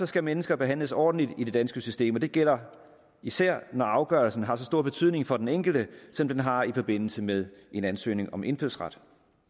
skal mennesker behandles ordentligt i det danske system og det gælder især når afgørelsen har så stor betydning for den enkelte som den har i forbindelse med en ansøgning om indfødsret